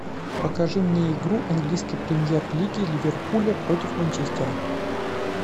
покажи мне игру английской премьер лиги ливерпуля против манчестера